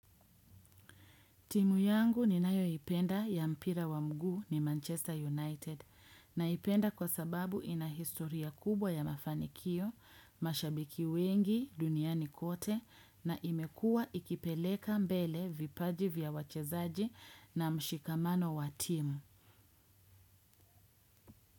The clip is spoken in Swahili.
Timu yangu ninayoipenda ya mpira wa mguu ni Manchester United. Naipenda kwa sababu ina historia kubwa ya mafanikio, mashabiki wengi duniani kote na imekuwa ikipeleka mbele vipaji vya wachezaji na mshikamano wa timu.